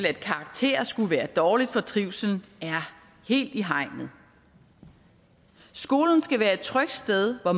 at karakterer skulle være dårligt for trivslen helt i hegnet skolen skal være et trygt sted hvor